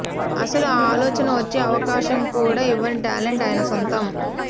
అసలు ఆ ఆలోచన వచ్చే అవకాశం కూడా ఇవ్వని టాలెంట్ ఆయన సొంతం